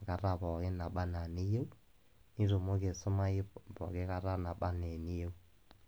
enkata pooki nabaa ana eniyou, nitumoki aisumayu pooki kata nabaa ana eniyou.